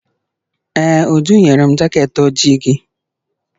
Ee, Uju nyere m jaket ojii gị.